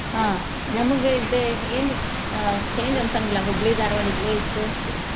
ಹ್ಮ್ ನಮ್ಗ ಇದ ಏನ್ ಅಹ್ change ಅನ್ಸಂಗಿಲ್ಲಾ ಹುಬ್ಳಿ ಧಾರವಾಡ ಇಲ್ಲೆ ಇದ್ದು .